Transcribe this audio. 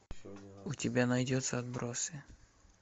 у тебя найдется отбросы